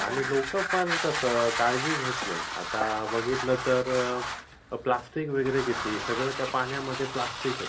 आणि लोकं पण कसं काळजी घेत नाहीत. आता बघितलं तर प्लॅस्टिक वगैरे किती. सगळं त्या पाण्यामध्ये प्लॅस्टिकच.